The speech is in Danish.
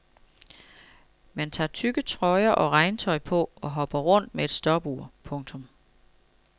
Man tager tykke trøjer og regntøj på og hopper rundt med et stopur. punktum